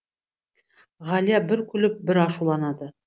ғалия бір күліп бір ашуланады